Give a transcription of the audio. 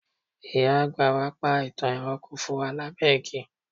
ìyá bàbá wa pa itan ẹranko fún wa labẹ igi